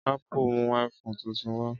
Ápù mú iPhone tuntun wá